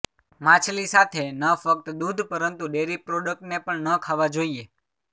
માછલી સાથે ન ફક્ત દૂધ પરંતુ ડેરી પ્રોડક્ટ ને પણ ન ખાવા જોઈએ